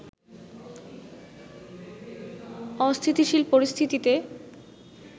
অস্থিতিশীল পরিস্থিতিতে